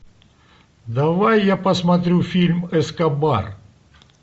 давай я посмотрю фильм эскобар